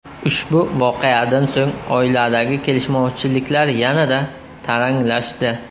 Ushbu voqeadan so‘ng oiladagi kelishmovchiliklar yanada taranglashdi.